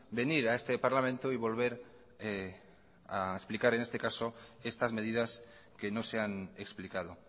venir a este parlamento y volver a explicar en este caso estas medidas que no se han explicado